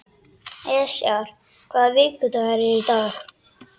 Esjar, hvaða vikudagur er í dag?